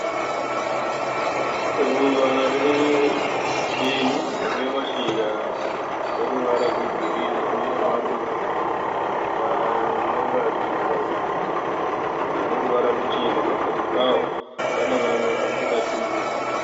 Ruva re benyu rinemashizha, ane ruvara rwegirini ine maruva anoratidza aneruvara ruchena pakati pawo . Pane mamwe asati atumbuka.